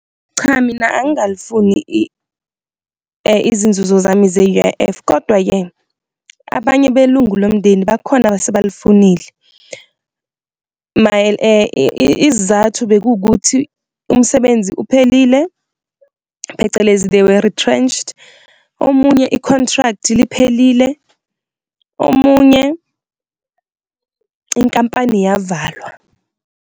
Cha, mina angikalifuni izinzuzo zami ze-U_I_F kodwa-ke abanye belungu lomndeni bakhona abasebalifunile, isizathu bekukuthi umsebenzi uphelile, phecelezi they were retrenched, omunye i-contract liphelile, omunye inkampani yavalwa.